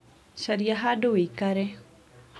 caria hadũ wĩikare